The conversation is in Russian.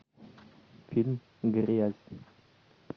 фильм грязь